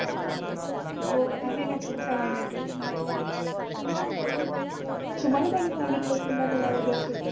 हो आहे ना पुढच्या महिन्यात आहे अच्छा तुम्हाला कोणी सांगितलं की माझा वाढदिवस येतोय